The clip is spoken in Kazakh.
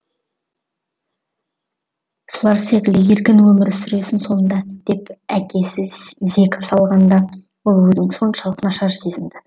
солар секілді еркін өмір сүресің сонда деп әкесі зекіп салғанда ол өзін соншалық нашар сезінді